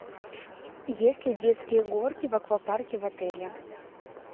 есть ли детские горки в аквапарке в отеле